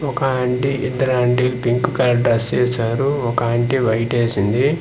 ఒక ఆంటీ ఇద్దరాంటీ pink colour dress ఏశారు ఒక ఆంటీ వైట్ ఏసింది .